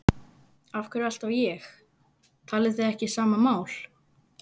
Af hverju alltaf ég- talið þið ekki sama mál?